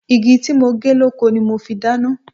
Igi tí mo gé lóko ni mo fi dáná.